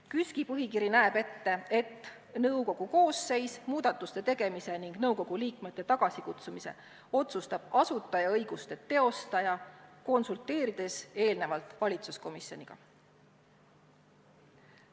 KÜSK-i põhikiri näeb ette, et nõukogu koosseisus muudatuste tegemise ning nõukogu liikmete tagasikutsumise otsustab asutajaõiguste teostaja, konsulteerides eelnevalt valitsuskomisjoniga.